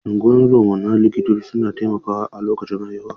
Unguwan zoma da likitoci suna taimakawa a lokacin haihuwa.